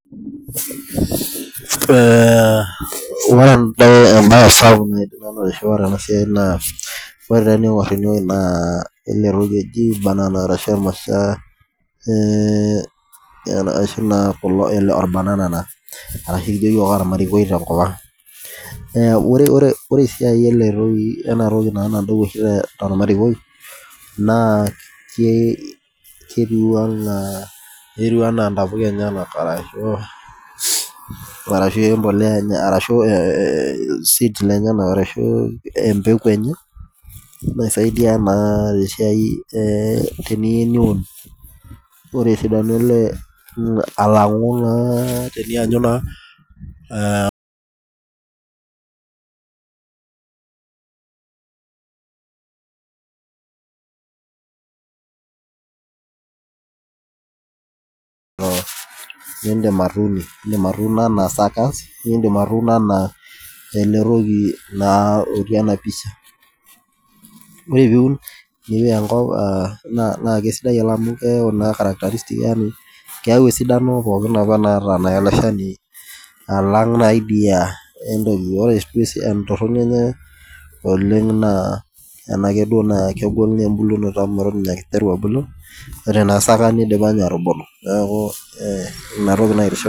Ee ore entoki sapuk tenasiai na eletoki oji ashu orbanana taa ashu ekijo yiok ormarikoi tenkop aang ore esiai enatoki nadou tormarikoi na ketiu anaa ntapuka enyenak ashu embolea arashu empeku enye naisaidia naa tesiai teniyieu niun ore esidano alangu tenianyu naa indim atuuno anaa suckers nindim atuuno ana eletoki naa otii enapisha ore piun na keyau esidano pooki naata iloshani alang idia ore entoroni enye na ena na kegol embulunoto enye amu atan aa kegira abulu ore na saka nidipa atubulu neaku inatoki naitiship.